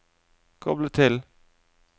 koble til